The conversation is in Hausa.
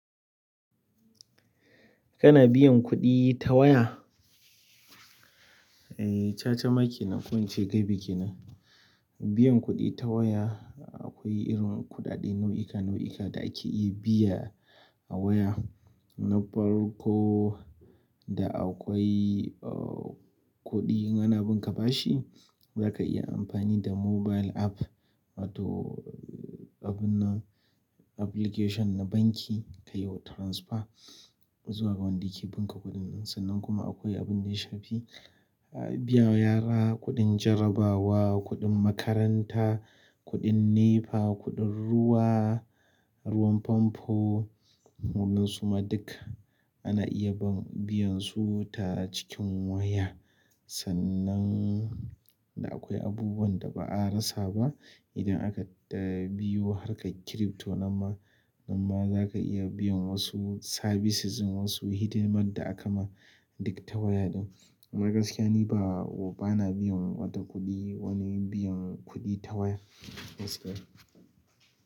Kana biyan kuɗi ta waya? Eh, cha-cha ma kenan, ko in ce ga bikin nan. Biyan kuɗi ta waya akwai irin kuɗaɗe nau'uka nau'uka da ake iya biya a waya. Na farko da akwai, uh, kuɗin, ana bin ka bashi, zaka iya amfani da mobile app wato abun nan, application na banki ka yiwa transfer zuwa ga wanda ke bin ka kuɗin. Sannan kuma akwai abin da ya shafi biya wa yara kuɗin jarabawa, kuɗin makaranta, kuɗin NEPA, kuɗin ruwa, ruwan famfo. Wannan suma duk ana iya biyan su tare cikin waya. Sannan da akwai abubuwan da ba a rasa ba, idan aka eh, biyo harkar crypto, nan ma, nan ma zaka iya biyan wasu services, wasu hidimar da aka ma dik ta waya ɗin. Amma gaskiya ni ba, ba na biyan wata kuɗi, wani biyan kuɗi ta waya. Wasup.